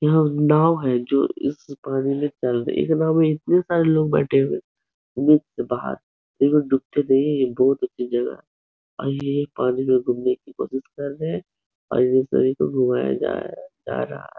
यह नाव है जो इस पानी में चल रही है। इस नाव में इतने सारे लोग बैठे है। उम्मीद से बाहर। ये डूबते नही है बहुत अच्छी जगह है और यह पानी में घुमने की कोशिश रहे है और इन सभी को घुमाया जा रहा है जा रहा है।